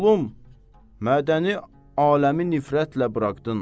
Oğlum, mədəni aləmi nifrətlə buraxdın.